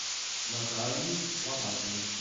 натальей ломакиной